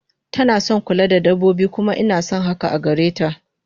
Tanason kula da dabbobi kuma inason hakan agareta